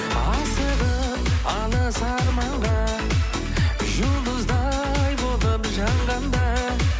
асығып алыс арманға жұлдыздай болып жанғанда